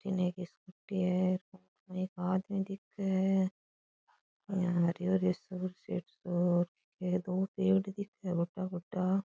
बठीने एक स्कूटी है एक आदमी दिखे है यहाँ हरियो हरियो सो ए दो पेड़ दिखे गोटा गोटा --